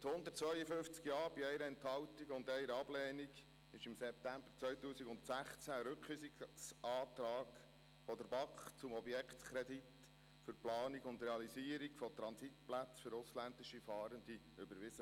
– Mit 152 Ja bei 1 Enthaltung und 1 Ablehnung wurde im September 2016 ein Rückweisungsantrag der BaK zum Objektkredit für die Planung und Realisierung von Transitplätzen für die ausländischen Fahrenden überwiesen.